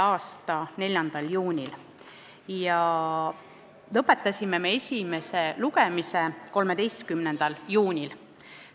a 4. juunil ja me lõpetasime esimese lugemise 13. juunil.